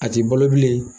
A ti balo bilen